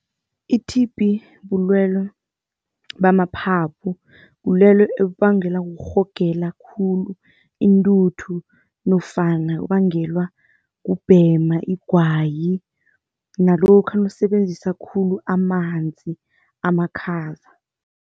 I-T_B bulwele bamaphaphu, bulwele ebubangelwa kurhogela khulu intuthu nofana ubangelwa kubhema igwayi nalokha nawusebenzisa khulu amanzi amakhaza.